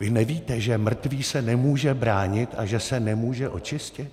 Vy nevíte, že mrtvý se nemůže bránit a že se nemůže očistit?